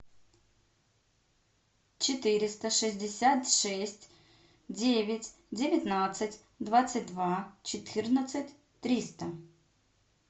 четыреста шестьдесят шесть девять девятнадцать двадцать два четырнадцать триста